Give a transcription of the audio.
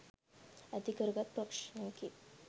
ඇතිකරගත් ප්‍රශ්නයකි.